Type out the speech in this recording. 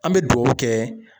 An bɛ dugawu kɛ.